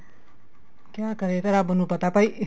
ਕਿਆ ਕਰੇ ਇਹ ਤਾਂ ਰੱਬ ਨੂੰ ਪਤਾ ਭਾਈ